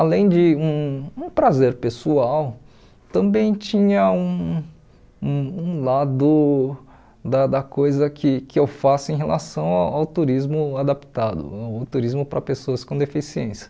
além de um um prazer pessoal, também tinha um um um lado da da coisa que que eu faço em relação a ao turismo adaptado, o turismo para pessoas com deficiência.